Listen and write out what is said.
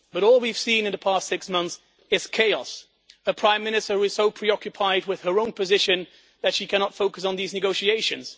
But all we have seen in the past six months is chaos a Prime Minister who is so preoccupied with her own position that she cannot focus on these negotiations